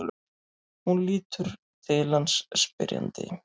Hún lítur til hans spyrjandi.